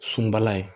Sunbala ye